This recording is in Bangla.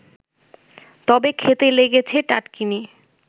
তবে খেতে লেগেছে টাটকিনি